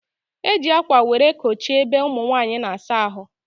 E ji akwa were kochie ebe ụmụnwanyị na-asa ahụ